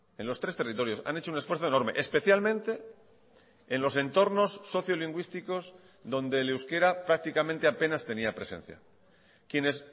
en los tres territorios han hecho un esfuerzo enorme especialmente en los entornos sociolingüísticos donde el euskera prácticamente apenas tenía presencia quienes